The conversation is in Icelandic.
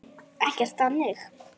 Ekkert þannig.